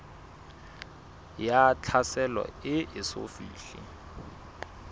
ya tlhaselo e eso fihle